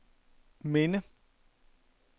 minde